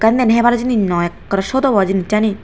ekkan den hebar jinis noi ekkorey sot obo jinissani.